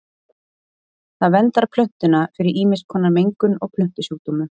Það verndar plöntuna fyrir ýmiss konar mengun og plöntusjúkdómum.